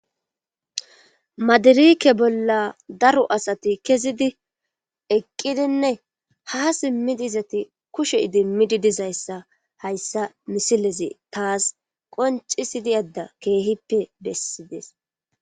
madirike bolla daro asati kezidi eqqidinne ha simmidi izati kushe idimmidi dizayssa hayssa misilezi taas qoncisidi ada keehippe bessidees